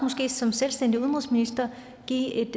som selvstændig minister give